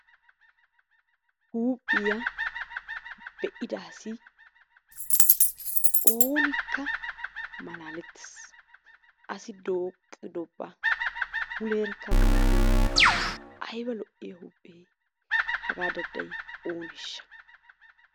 Huuphiya be'ida asi oonikka malaalettes. Asi dooqqidoba muleerakka malatenna ayiba lo'iya huuphee hagaa dadday ooneeshsha?